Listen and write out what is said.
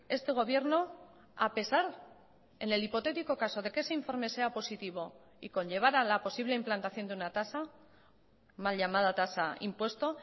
este gobierno a pesar en el hipotético caso de que ese informe sea positivo y conllevara la posible implantación de una tasa mal llamada tasa impuesto